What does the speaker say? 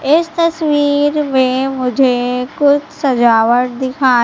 इस तस्वीर में मुझे कुछ सजावट दिखा--